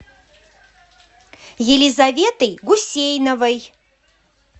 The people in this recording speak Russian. елизаветой гусейновой